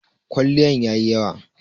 kwaliyan yayi yawa